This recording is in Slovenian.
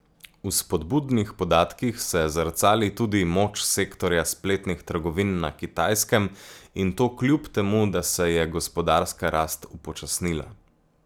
V spodbudnih podatkih se zrcali tudi moč sektorja spletnih trgovin na Kitajskem in to kljub temu, da se je gospodarska rast upočasnila.